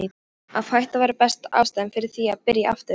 Að hætta var besta ástæðan fyrir því að byrja aftur.